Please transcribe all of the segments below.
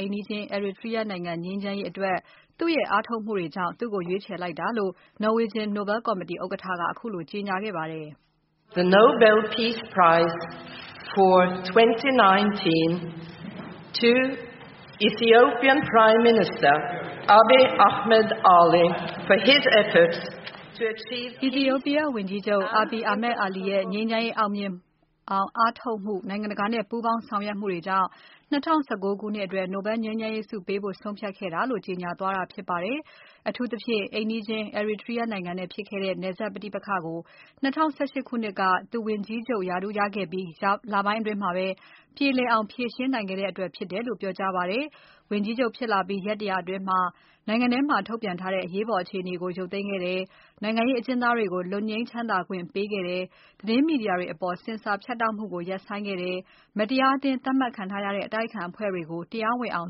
အိမ်နီးချင်း Eritrea နိုင်ငံနဲ့ ငြိမ်းချမ်းရေးရအောင် သူ့ရဲ့ အားထုတ်မှုအတွက် ရွေးချယ်လိုက်တာလို့ Norwegian Nobel Committee ဥက္ကဋ္ဌက ခုလိုကြေညာခဲ့ပါတယ်။ အီသီယိုပီးယားဝန်ကြီးချုပ် Abiy Ahmed Ali ရဲ့ ငြိမ်းချမ်းရေးအောင်မြင်အောင် အားထုတ်မှု၊ နိုင်ငံတကာနဲ့ ပူးပေါင်းဆောင်ရွက်မှုတွေကြောင့် ၂၀၁၉ ခုနှစ်အတွက် Nobel ငြိမ်းချမ်းရေးဆုပေးဖို့ ဆုံးဖြတ်ခဲ့တာလို့ ကြေညာသွားတာဖြစ်ပါတယ်။ အထူးသဖြင့် အိမ်နီးချင်း Eritrea နိုင်ငံနဲ့ဖြစ်ခဲ့တဲ့ နယ်စပ်ပဋိပက္ခကို ၂၀၁၈ ခုနှစ်က သူဝန်ကြီးချုပ်ရာထူးရခဲ့ပြီး လပိုင်းအတွင်းမှာ ပြေလည်အောင် ဖြေရှင်းနိုင်ခဲ့တဲ့အတွက် ဖြစ်တယ်လို့ ပြောကြားပါတယ်။ ဝန်ကြီးချုပ်ဖြစ်လာပြီး ရက် ၁၀၀ အတွင်းမှာ နိုင်ငံထဲမှာ ထုတ်ပြန်ထားတဲ့ အရေးပေါ်အခြေအနေကို ရုပ်သိမ်းခဲ့တယ်။ နိုင်ငံရေးအကျဉ်းသားတွေကို လွတ်ငြိမ်းချမ်းသာခွင့်ပေးခဲ့တဲ့ သတင်းမီဒီယာတွေအပေါ် ဆင်ဆာဖြတ်တောက်မှုကို ရပ်ဆိုင်းခဲ့တယ်။ မတရားအသင်း သတ်မှတ်ခံထားရတဲ့ အတိုက်အခံအဖွဲ့တွေ တရားဝင်အောင်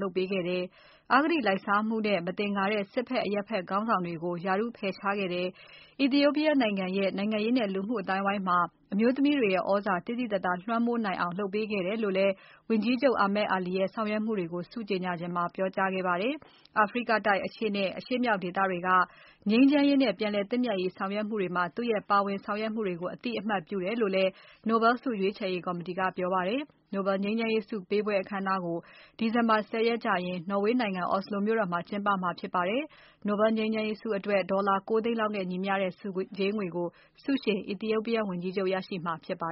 လုပ်ပေးခဲ့တယ်။ အဂတိုက်လိုက်စားမှုနဲ့ မသင်္ကာတဲ့ စစ်ဘက် အရပ်ဘက် ခေါင်းဆောင်တွေကို ရာထူးဖယ်ရှားခဲ့တယ်။ အီသီယိုးပီးယားနိုင်ငံရဲ့ နိုင်ငံရေးနဲ့ လူမှုအသိုင်းအဝိုင်းမှာ အမျိုးသမီးတွေရဲ့ သြဇာသိသိသာသာ လွှမ်းမိုးနိုင်အောင် လုပ်ပေးခဲ့တယ်လို့လည်း ဝန်ကြီးချုပ် Ahmed Ali ရဲ့ဆောင်ရွက်မှုတွေကို ဆုကြေညာစဉ်မှာ ပြောကြားခဲ့ပါတယ်။ အာဖရိကတိုက် အရှေ့နဲ့အရှေ့မြောက်ဒေသတွေက ငြိမ်းချမ်းရေးနဲ့ ပြန်လည်သင့်မြတ်ရေးဆောင်ရွက်မှုတွေမှာ သူ့ရဲ့ပါဝင်ဆောင်ရွက်မှုတွေကို အသိအမှတ်ပြုတယ်လို့လည်း Nobel ဆုရွေးချယ်ရေးကော်မတီက ပြောပါတယ်။ Nobel ငြိမ်းချမ်းရေးဆုပေးပွဲ အခမ်းအနားကို ဒီဇင်ဘာ ၁၀ ရက်ကျရင် နော်ဝေးနိုင်ငံ Oslo မြို့တော်မှာ ပြုလုပ်မှာဖြစ်ပါတယ်။ Nobel ငြိမ်းချမ်းရေးအတွက် ဒေါ်လာ ၉ သိန်းလောက်နဲ့ညီမျှတဲ့ ဆုကြေးငွေကို ဆုရှင် အီသီယိုးပီးယားဝန်ကြီးချုပ် ရရှိမှာဖြစ်ပါ